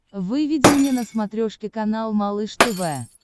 выведи мне на смотрешке канал малыш тв